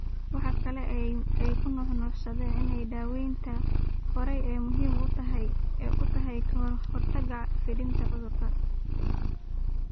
Waxa kale oo ay ku nuuxnuuxsadeen in daawaynta hore ay muhiim u tahay ka hortagga fiditaanka cudurrada.